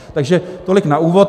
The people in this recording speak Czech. Takže tolik na úvod.